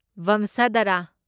ꯚꯝꯁꯙꯥꯔꯥ